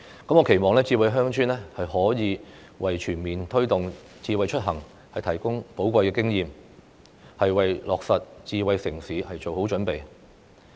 我期望"智慧鄉村"可以為全面推動"智慧出行"提供寶貴的經驗，為落實"智慧城市"做好準備。